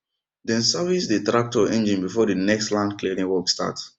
dem service dey tractor engine before dey next land clearing work start